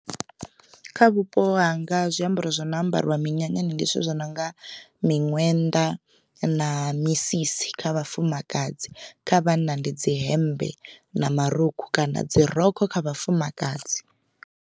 Kha vhupo hanga zwiambaro zwi no ambariwa minyanyani ndi zwithu zwi nonga miṅwenda na misisi kha vhafumakadzi kha vhanna ndi dzi hembe na marukhu kana dzi rokho kha vhafumakadzi.